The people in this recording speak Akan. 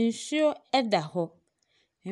Nsuo ɛda hɔ,